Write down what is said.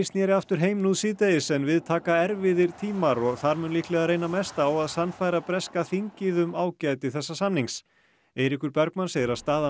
snéri aftur heim nú síðdegis en við taka erfiðir tímar og þar mun líklega reyna mest á að sannfæra breska þingið um ágæti þessa samnings Eiríkur Bergmann segir að staða